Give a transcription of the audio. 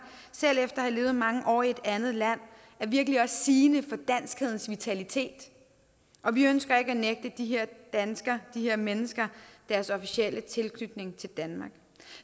selv efter at have levet mange år i et andet land er virkelig også sigende for danskhedens vitalitet og vi ønsker ikke at nægte de her danskere de her mennesker deres officielle tilknytning til danmark